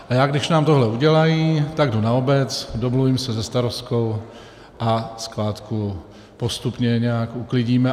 A já, když nám tohle udělají, tak jdu na obec, domluvím se se starostkou a skládku postupně nějak uklidíme.